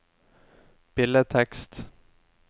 billedtekst